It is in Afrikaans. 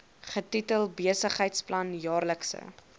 getitel besigheidsplan jaarlikse